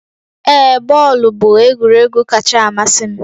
Ee, bọọlụ bụ egwuregwu kacha amasị m